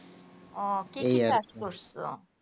ও ঠিকই কাজ করছো